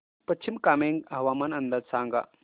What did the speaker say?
पश्चिम कामेंग हवामान अंदाज सांगा